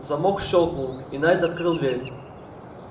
замок щёлкнул и найд открыл дверь